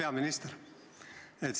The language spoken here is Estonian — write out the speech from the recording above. Hea peaminister!